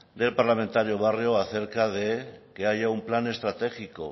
del parlamentario barrio acerca de que haya un plan estratégico